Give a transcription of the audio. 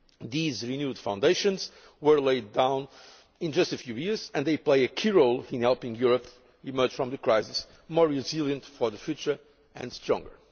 These renewed foundations were laid down in just a few years and they play a key role in helping Europe emerge from the crisis more resilient for the future and stronger.